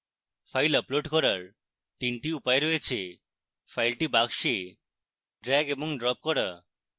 file upload করার 3 the উপায় রয়েছে: file box drag এবং drop করা